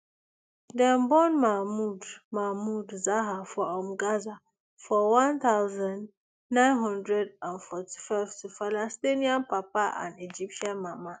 dem born mahmoud mahmoud zahar for um gaza for one thousand, nine hundred and forty-five to palestinian papa and egyptian mama